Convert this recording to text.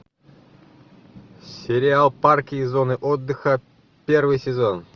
сериал парки и зоны отдыха первый сезон